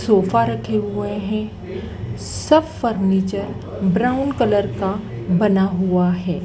Sofa रखे हुए हैं सब फर्नीचर ब्राउन कलर का बना हुआ है।